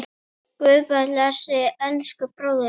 Guð blessi elsku bróður minn.